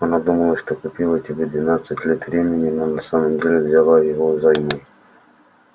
она думала что купила тебе двенадцать лет времени но на самом деле взяла его взаймы